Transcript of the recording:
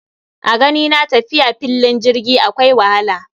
A ganina tafiya fillin jirgi akwai wahala